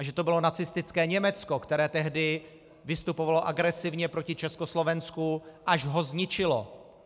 A že to bylo nacistické Německo, které tehdy vystupovalo agresivně proti Československu, až ho zničilo.